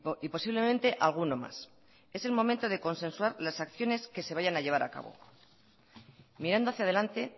y posiblemente alguno más es el momento de consensuar las acciones que se vayan a llevar a cabo mirando hacia adelante